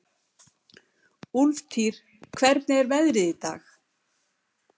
Úlftýr, hvernig er veðrið í dag?